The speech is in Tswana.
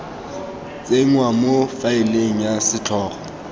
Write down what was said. tsenngwa mo faeleng ya setlhogo